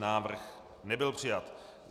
Návrh nebyl přijat.